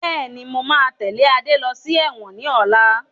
Bẹ́ẹ̀ni, mo máa tẹ́lẹ̀ Adé lọ sí ẹ̀wọ̀n ni ọ̀la